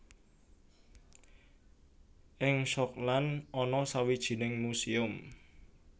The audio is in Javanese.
Ing Schokland ana sawijining muséum